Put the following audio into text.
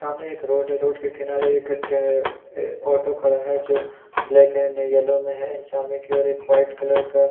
सामने एक रोड है रोड के किनारे एक ऑटो खड़ा है जो ब्लैक एंड येलो में है एंड सामने की ओर एक वाइट कलर का --